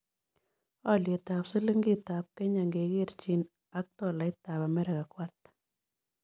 Alyetap silingiitap kenya ngekerchin aktolaitap amerika ko ata